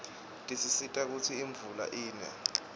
tisisita kutsi imvula ine